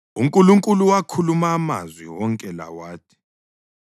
UNkulunkulu wakhuluma amazwi wonke la wathi: